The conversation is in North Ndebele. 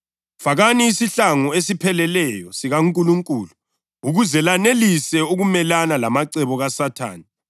Ekucineni, qinani eNkosini lasemandleni ayo amakhulu.